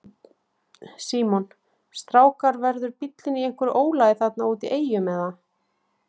Símon: Strákar verður bíllinn í einhverju ólagi þarna úti í Eyjum eða?